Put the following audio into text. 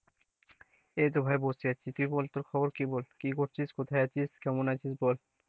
এইতো ভাই বসে আছি তুই বল তোর খবর কি? কি করছিস কোথায় আছিস কেমন আছিস বল,